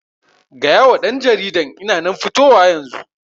Gayawa ɗan jaridan ina nan fitowa yanzu